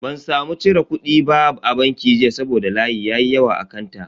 Ban samu cire kudi ba a banki jiya saboda layi ya yi yawa a kanta.